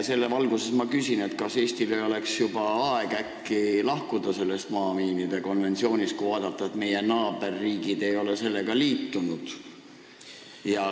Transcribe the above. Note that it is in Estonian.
Selle valguses ma küsin, kas Eestil ei oleks aeg äkki lahkuda maamiinide keelustamise konventsioonist, kui vaadata, et meie naaberriigid ei ole sellega liitunud.